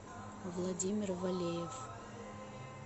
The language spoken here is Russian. владимир валеев